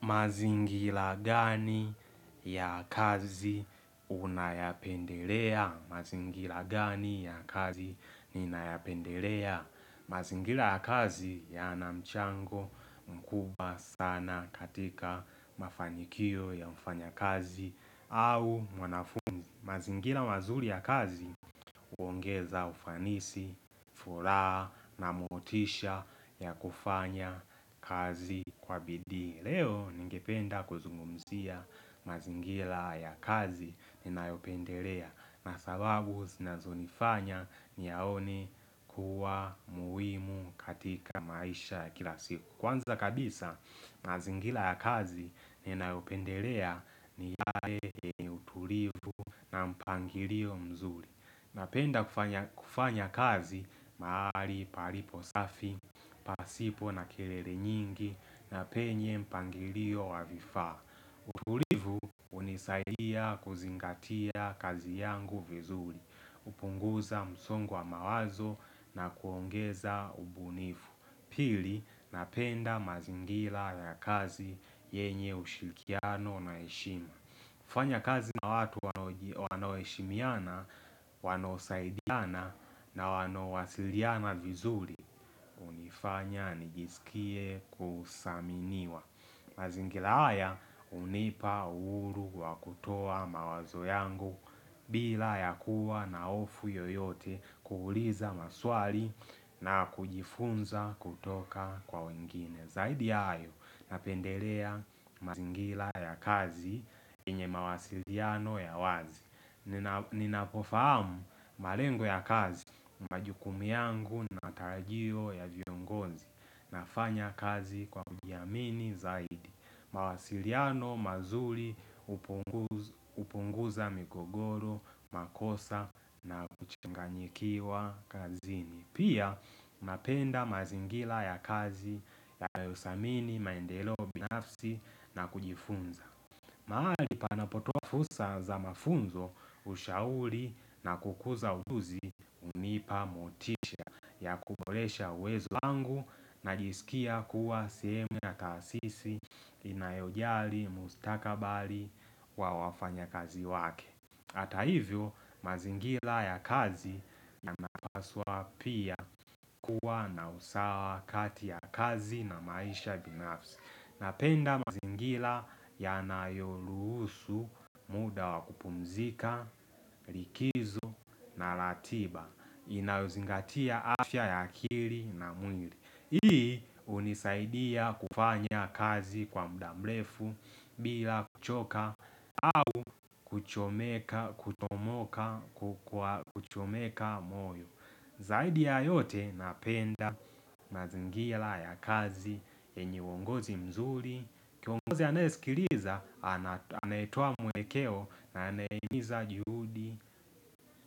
Mazingira gani ya kazi unayapendelea? Mazingira gani ya kazi ninayapendelea? Mazingira ya kazi yana mchango mkubwa sana katika mafanikio ya mfanyakazi au mwanafunzi. Mazingira mazuri ya kazi, huongeza ufanisi, furaha na motisha ya kufanya kazi kwa bidi. Leo ningependa kuzungumzia mazingira ya kazi ninayopendelea na sababu zinazonifanya niyaone kuwa muhimu katika maisha ya kila siku. Kwanza kabisa mazingira ya kazi ninayopendelea ni yale utulivu na mpangilio mzuri. Napenda kufanya kazi mahali palipo safi, pasipo na kelele nyingi na penye mpangilio wa vifaa. Utulivu hunisaidia kuzingatia kazi yangu vizuri, hupunguza msongo wa mawazo na kuongeza ubunifu. Pili, napenda mazingira ya kazi yenye ushikiriano na heshima. Kufanya kazi na watu wanaoji wanaoheshimiana, wanaosaidiana na wanaowasiliana vizuri hunifanya nijisikie kusaminiwa mazingira haya hunipa uhuru wa kutoa mawazo yangu bila ya kuwa na hofu yoyote, kuuliza maswali na kujifunza kutoka kwa wengine. Zaidi ya hayo napendelea mazingira ya kazi yenye mawasiliano ya wazi. Nina Ninapofahamu malengo ya kazi, majukumu yangu na matarajio ya viongozi nafanya kazi kwa kujiamini zaidi. Mawasiliano mazuri hupunguz hupunguza migogoro, makosa na kuchanganyikiwa kazini. Pia napenda mazingira ya kazi yanayosamini maendeleo nafsi na kujifunza mahali panapotoa fursa za mafunzo, ushauri na kukuza ujuzi hunipa motisha ya kuboresha uwezo wangu najisikia kuwa sehemu ya taasisi inayojali mustakabali wa wafanyakazi wake. Hata hivyo mazingira ya kazi yanapaswa pia kuwa na usawa kati ya kazi na maisha binafsi. Napenda mazingira yanayorusu muda wakupumzika, likizo na ratiba. Inayozingatia afya ya akili na mwili. Hii hunisaidia kufanya kazi kwa muda mrefu bila kuchoka au kuchomeka kutomoka kwa kuchomeka moyo Zaidi ya yote napenda mazingira ya kazi yenye uongozi mzuri Kiongozi aneyesikiliza anayetoa mwelekeo na anayehimiza juhudi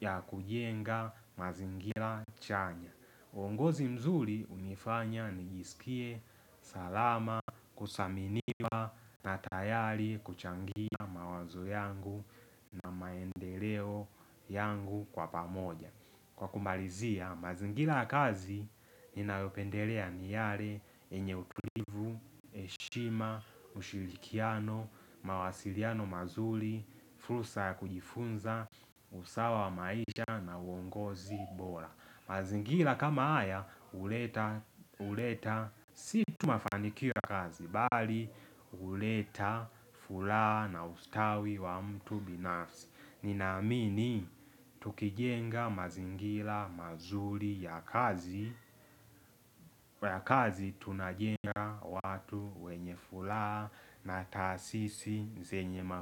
ya kujenga mazingira chanya. Uongozi mzuri hunifanya nijisikie salama, kusaminiwa na tayari kuchangia mawazo yangu na maendeleo yangu kwa pamoja. Kwa kumalizia, mazingira ya kazi ninayopendelea ni yale yenye utulivu, heshima, ushirikiano, mawasiliano mazuri, fursa ya kujifunza, usawa wa maisha na uongozi bora. Mazingira kama haya huleta huleta si tu mafanikio ya kazi bali huleta furaha na ustawi wa mtu binafsi. Ninamini tukijenga mazingira mazuri ya kazi kwa ya kazi tunajenga watu wenye furaha na taasisi zenye ma.